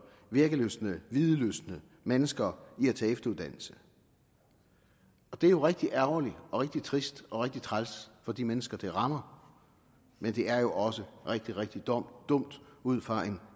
virkelystne videlystne mennesker i at tage efteruddannelse og det er jo rigtig ærgerligt og rigtig trist og rigtig træls for de mennesker det rammer men det er også rigtig rigtig dumt ud fra en